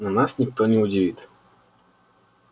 но нас никто не удивит